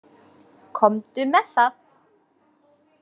Komdu með það!